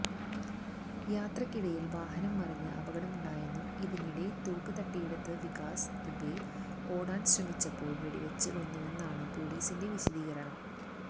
യാത്രക്കിടയില് വാഹനം മറഞ്ഞ് അപകടമുണ്ടായെന്നും ഇതിനിടെ തോക്ക് തട്ടിയെടുത്ത് വികാസ് ദുബെ ഓടാന് ശ്രമിച്ചപ്പോള് വെടിവെച്ച് കൊന്നുവെന്നാണ് പൊലീസിന്റെ വിശദീകരണം